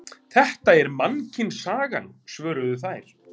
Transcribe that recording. Þetta er Mannkynssagan, svöruðu þær.